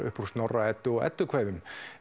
upp úr Snorra Eddu og eddukvæðum